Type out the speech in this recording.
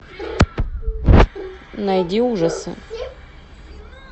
найди ужасы